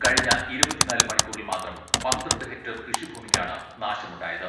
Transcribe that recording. കഴിഞ്ഞ ഇരുപത്തിനാല് മണിക്കൂറിൽ മാത്രം പന്ത്രണ്ട് ഹെക്ടർ കൃഷി ഭൂമിക്കാണ് നാശമുണ്ടായത്.